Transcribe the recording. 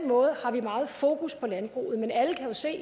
måde har vi meget fokus på landbruget men alle kan jo se